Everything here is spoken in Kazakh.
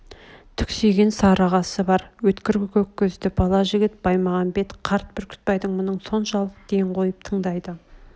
түксиген сары қасы бар өткір көк көзді бала жігіт баймағамбет қарт бүрктбайдың мұңын соншалық ден қойып тыңдайды